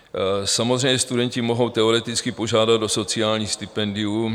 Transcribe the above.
Samozřejmě studenti mohou teoreticky požádat o sociální stipendium.